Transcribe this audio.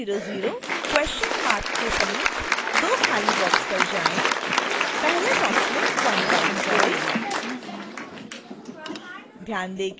700 के समीप दो खाली बॉक्स पर जाएँ पहले बॉक्स में 1 टाइप करें